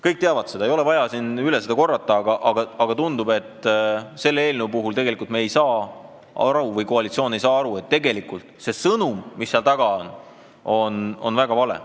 Kõik teavad seda, seda ei ole vaja üle korrata, aga tundub, et me ei saa aru või koalitsioon ei saa aru, et see sõnum, mis selle eelnõu taga on, on väga vale.